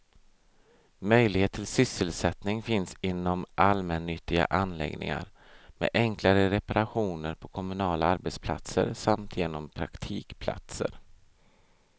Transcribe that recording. Möjlighet till sysselsättning finns inom allmännyttiga anläggningar, med enklare reparationer på kommunala arbetsplatser samt genom praktikplatser.